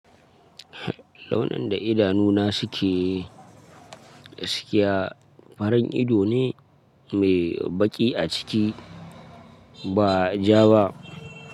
Launin da idanuna suke, farin ido ne mai baƙi a ciki, ba ja ba.